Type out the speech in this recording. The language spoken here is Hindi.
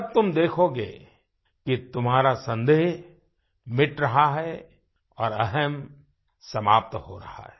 तब तुम देखोगे कि तुम्हारा संदेह मिट रहा है और अहम् समाप्त हो रहा है